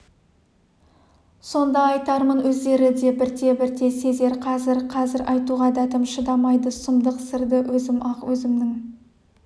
сонда айтармын өздері де бірте-бірте сезер қазір қазір айтуға дәтім шыдамайды сұмдық сырды өзім ақ өзімнің